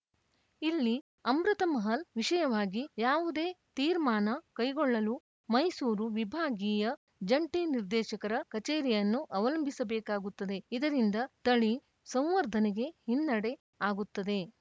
ಇಲ್ಲಿ ಅಮೃತ ಮಹಲ್‌ ವಿಷಯವಾಗಿ ಯಾವುದೇ ತೀರ್ಮಾನ ಕೈಗೊಳ್ಳಲು ಮೈಸೂರು ವಿಭಾಗೀಯ ಜಂಟಿ ನಿರ್ದೇಶಕರ ಕಚೇರಿಯನ್ನು ಅವಲಂಬಿಸಬೇಕಾಗುತ್ತದೆ ಇದರಿಂದ ತಳಿ ಸಂವರ್ಧನೆಗೆ ಹಿನ್ನೆಡೆ ಆಗುತ್ತದೆ